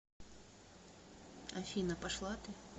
афина пошла ты